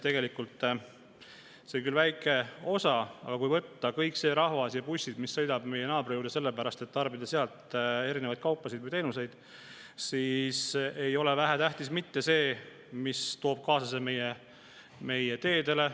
Tegelikult see on küll väike osa, aga kui võtta kokku kõik see rahvas ja bussid, mis sõidavad meie naabri juurde sellepärast, et tarbida sealseid kaupu või teenuseid, siis ei ole vähetähtis ka see, mille see kõik toob kaasa meie teedele.